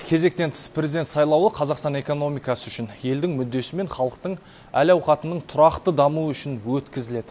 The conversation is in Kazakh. кезектен тыс президент сайлауы қазақстан экономикасы үшін елдің мүддесі мен халықтың әл ауқатының тұрақты дамуы үшін өткізіледі